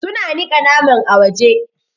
Su na niƙa naman a waje.